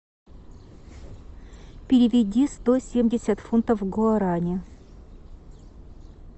переведи сто семьдесят фунтов в гуарани